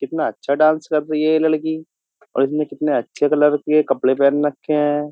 कितना अच्छा डांस कर रही है ये लड़की और इसने कितने अच्छे कलर के कपड़े पहन रखे हैं।